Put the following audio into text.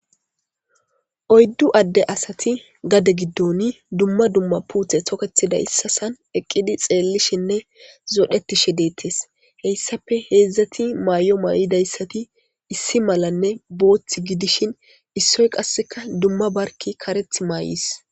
oyddu adde asati gade giddon dumma dumma puuthe toketida issasan eqqidi xeellishinne zodhetishe deettes heyssafe heedzdzati maay7o maa7idayssati issi malanne boothth gidishin issoy qasseka dumma barki kareth maay7is